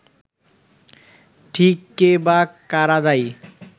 ঠিক কে বা কারা দায়ী